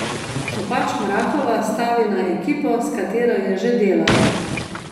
Kopač Mrakova stavi na ekipo, s katero je že delala.